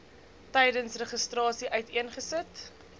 tydens registrasie uiteengesit